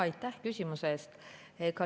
Aitäh küsimuse eest!